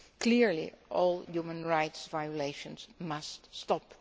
Clearly, all human rights violations must stop.